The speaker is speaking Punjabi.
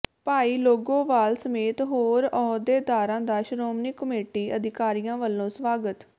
ਭਾਈ ਲੌਂਗੋਵਾਲ ਸਮੇਤ ਹੋਰ ਅਹੁਦੇਦਾਰਾਂ ਦਾ ਸ਼੍ਰੋਮਣੀ ਕਮੇਟੀ ਅਧਿਕਾਰੀਆਂ ਵੱਲੋਂ ਸਵਾਗਤ